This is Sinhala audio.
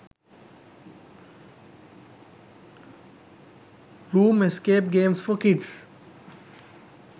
room escape games for kids